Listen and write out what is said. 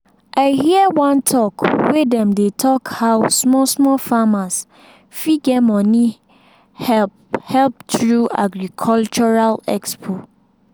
i hear one talk wey dem dey talk how small-small farmers fit get money help help through agricultural expo.